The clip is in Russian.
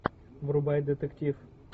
врубай детектив